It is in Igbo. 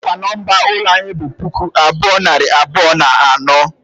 Ọ kwa nọmba ụlọ anyị bụ puku abuo, nari abụọ na anọ?